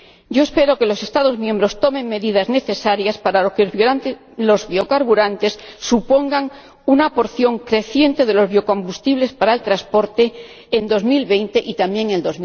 Yo espero que los Estados miembros tomen las medidas necesarias para que los biocarburantes supongan una porción creciente de los biocombustibles para el transporte en 2020 y también en